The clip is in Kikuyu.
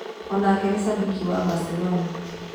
O-nake nĩ cambĩki wa Baselona.